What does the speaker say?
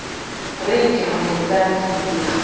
re ke moletsane setsetse sa